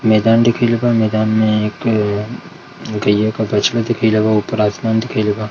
मैदान दिखेल बा मैदान मे एक गय्या का बछड़ा दिखेलबा ऊपर आसमान दिखेलबा।